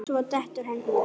Svo dettur hann út.